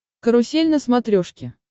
карусель на смотрешке